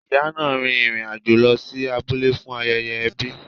Ìyá náà rin ìrìn àjò lọ sí abúlé fún ayẹyẹ ẹbi.